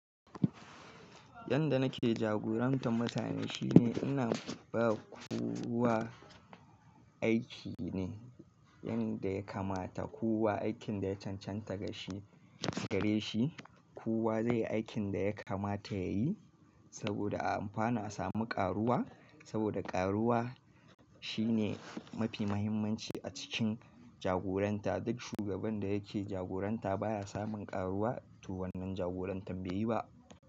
Yanda nake jagorantar mutane shine ina ba kowa aiki ne, yan da ya kamata. Kowa aikin da ya cancanta gare shi, kowa zai yi aikin da ya kamata ya yi saboda anfana samu ƙaruwa saboda ƙaruwa shine mafi mahimmanci a cikin jagoranta. Duk shugaban da yake jagoranta baya samun ƙaruwa to wannan jagorantar bai yi ba.